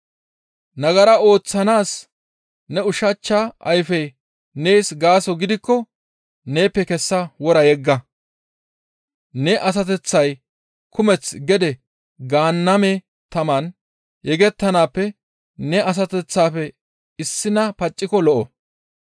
Nagara ooththanaas ne ushachcha ayfey nees gaaso gidikko neeppe kessa wora yegga; ne asateththay kumeth gede Gaanname taman yegettanaappe ne asateththafe issina pacciko lo7o.